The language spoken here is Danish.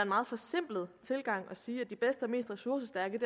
meget forsimplet tilgang at sige at de bedste og mest ressourcestærke